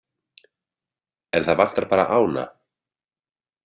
En það vantar bara ána?